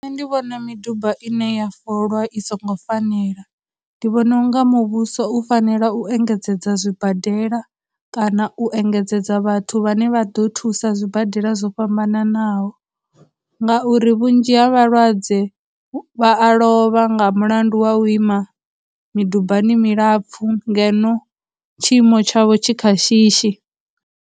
Nṋe ndi vhona miduba ine ya folwa i songo fanela, ndi vhona unga muvhuso u fanela u engedzedza zwibadela, kana u engedzedza vhathu vhane vha ḓo thusa zwibadela zwo fhambananaho ngauri vhunzhi ha vhalwadze vha a lovha nga mulandu wa u ima midubani milapfhu ngeno tshiimo tshavho tshi kha shishi.